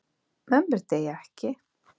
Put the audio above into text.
Mömmur deyja ekki.